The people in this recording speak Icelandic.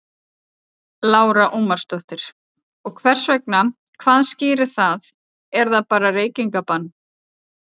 Lára Ómarsdóttir: Og hvers vegna, hvað skýrir það, er það bara reykingabann?